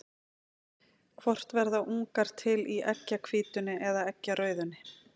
Hvort verða ungar til í eggjahvítunni eða eggjarauðunni?